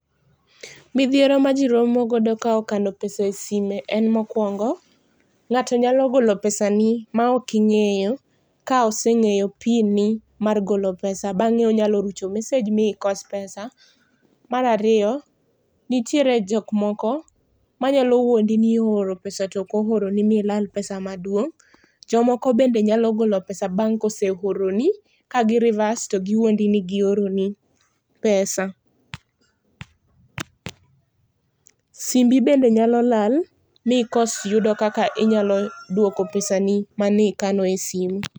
Midhiero maji romo godo kokalo kano pesa e sime en mokuongo ,ngato nyalo golo pesani maok ingeyo ka oseng'eyo pin ni mar golo pesa bange onyalo rucho messege mikos pesa. Mar ariyo nitiere jok moko manyalo wuondi ni ooro pesa to ooroni milal pesa maduong',jomoko bende nyalo golo pesa bang ka oseoroni ka gi reverse to wuondi ni gioroni pesa. Simbi bende nyalo lal mikos yudo kaka inyalo yudo pesani mane ikano e simu